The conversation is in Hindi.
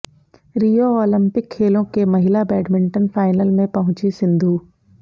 रियो ओलिंपिक खेलों के महिला बैडमिंटन फाइनल में पहुंची सिंधु